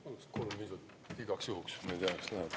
Paluks igaks juhuks kolm lisaminutit, kuigi ma ei tea, kas vaja läheb.